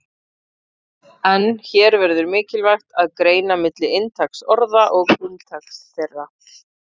En hér verður mikilvægt að greina milli inntaks orða og umtaks þeirra.